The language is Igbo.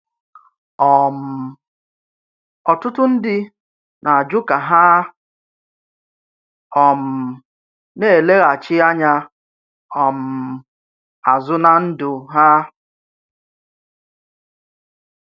um Ọ́tùtù̀ ndí na-ajụ̀ ka hà um na-èlèghàchí ànyà um azụ̀ ná ndụ̀ ha.